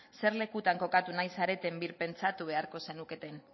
zer lekutan kokatu nahi zareten birpentsatu beharko zenukete